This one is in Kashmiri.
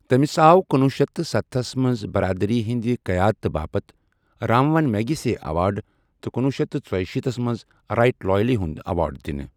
تٔمِس آو کنوُہ شیٚتھ تہٕ سَتسَتتھس منٛز برادری ہندِ قیادتہٕ باپتھ رامون میگسیسے ایوارڈ تہٕ کنوُہ شیٚتھ تہٕ ژۄیہِ شیٖتس منٛز رائٹ لائیولی ہُنڈ ایوارڈ دِنہٕ ۔